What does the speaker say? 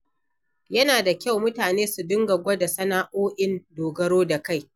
Yana da kyau mutane su dinga gwada sana'o'in dogaro da kai.